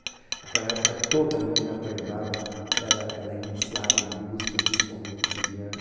Naquela época, toda menina prendada era era iniciada em música, principalmente no piano.